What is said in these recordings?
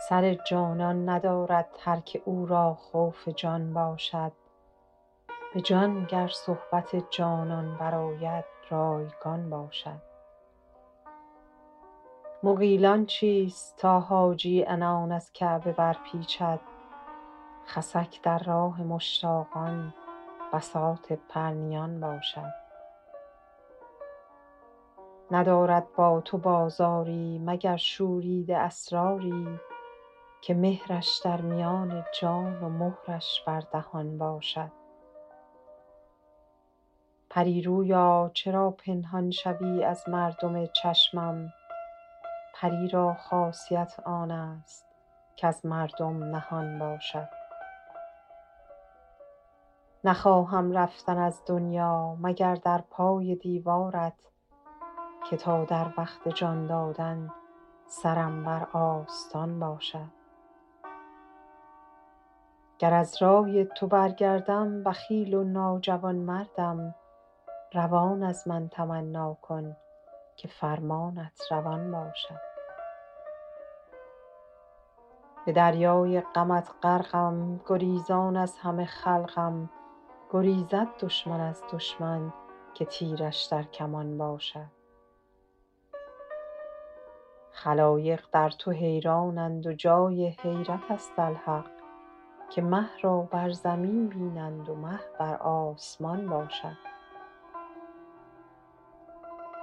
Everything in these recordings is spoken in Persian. سر جانان ندارد هر که او را خوف جان باشد به جان گر صحبت جانان برآید رایگان باشد مغیلان چیست تا حاجی عنان از کعبه برپیچد خسک در راه مشتاقان بساط پرنیان باشد ندارد با تو بازاری مگر شوریده اسراری که مهرش در میان جان و مهرش بر دهان باشد پری رویا چرا پنهان شوی از مردم چشمم پری را خاصیت آن است کز مردم نهان باشد نخواهم رفتن از دنیا مگر در پای دیوارت که تا در وقت جان دادن سرم بر آستان باشد گر از رای تو برگردم بخیل و ناجوانمردم روان از من تمنا کن که فرمانت روان باشد به دریای غمت غرقم گریزان از همه خلقم گریزد دشمن از دشمن که تیرش در کمان باشد خلایق در تو حیرانند و جای حیرت است الحق که مه را بر زمین بینند و مه بر آسمان باشد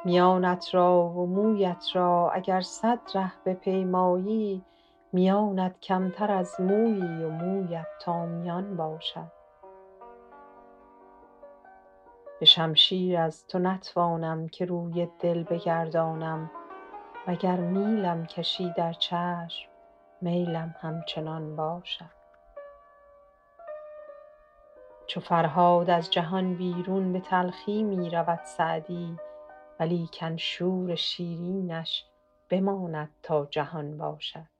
میانت را و مویت را اگر صد ره بپیمایی میانت کمتر از مویی و مویت تا میان باشد به شمشیر از تو نتوانم که روی دل بگردانم و گر میلم کشی در چشم میلم همچنان باشد چو فرهاد از جهان بیرون به تلخی می رود سعدی ولیکن شور شیرینش بماند تا جهان باشد